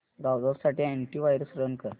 browser साठी antivirus run कर